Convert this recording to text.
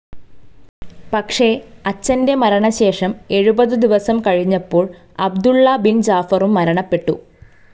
പക്ഷെ അച്ഛൻ്റെ മരണശേഷം എഴുപത് ദിവസം കഴിഞ്ഞപ്പോൾ അബ്ദുള്ള ബിൻ ജാഫറും മരണപ്പെട്ടു.